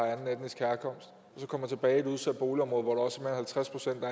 så kommer tilbage i et udsat boligområde hvor herkomst så